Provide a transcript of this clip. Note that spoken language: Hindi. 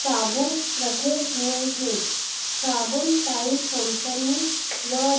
साबुन रखे हुए हैं साबुन टाइड कंपनी व--